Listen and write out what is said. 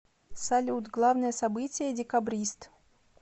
салют главное событие декабрист